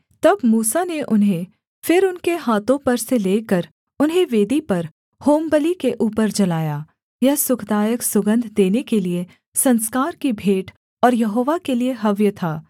तब मूसा ने उन्हें फिर उनके हाथों पर से लेकर उन्हें वेदी पर होमबलि के ऊपर जलाया यह सुखदायक सुगन्ध देने के लिये संस्कार की भेंट और यहोवा के लिये हव्य था